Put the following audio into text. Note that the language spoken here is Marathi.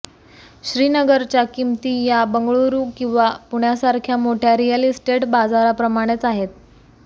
श्रीनगरच्या किमती या बंगळुरू किंवा पुण्यासारख्या मोठ्या रिअल इस्टेट बाजाराप्रमाणेच आहेत